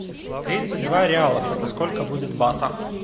тридцать два реалов это сколько будет батов